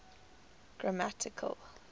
grammatical